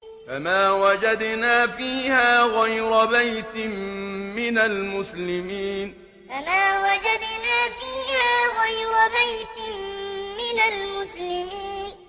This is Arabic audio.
فَمَا وَجَدْنَا فِيهَا غَيْرَ بَيْتٍ مِّنَ الْمُسْلِمِينَ فَمَا وَجَدْنَا فِيهَا غَيْرَ بَيْتٍ مِّنَ الْمُسْلِمِينَ